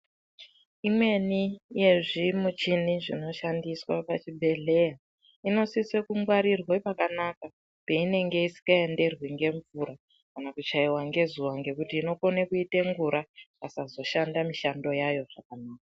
Imweni yezvimuchini zvinoshandiswa pachibhedhleya inosise kungwarirwe pakanaka peinenge isikaenderwi ngemvura kana kuchaiwa ngezuwa ngekuti inokone kuita ngura ikasazoshanda mishando yayo zvakanaka.